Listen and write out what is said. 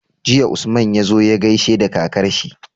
Jiya Usman yazo ya gaishe da kakar shi